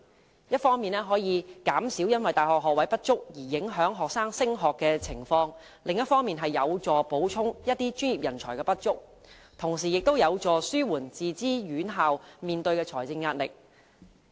此舉一方面可以減少因大學學位不足而影響學生升學的情況，另一方面則有助補充某些專業人才的不足，同時亦有助紓緩自資院校面對的財政壓力。